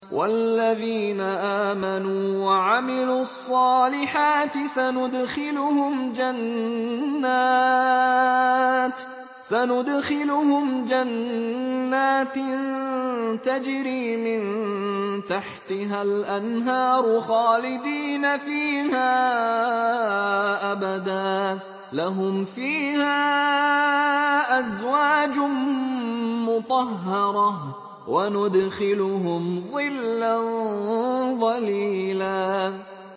وَالَّذِينَ آمَنُوا وَعَمِلُوا الصَّالِحَاتِ سَنُدْخِلُهُمْ جَنَّاتٍ تَجْرِي مِن تَحْتِهَا الْأَنْهَارُ خَالِدِينَ فِيهَا أَبَدًا ۖ لَّهُمْ فِيهَا أَزْوَاجٌ مُّطَهَّرَةٌ ۖ وَنُدْخِلُهُمْ ظِلًّا ظَلِيلًا